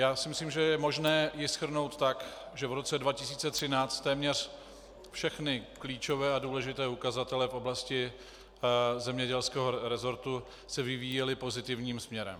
Já si myslím, že je možné ji shrnout tak, že v roce 2013 téměř všechny klíčové a důležité ukazatele v oblasti zemědělského resortu se vyvíjely pozitivním směrem.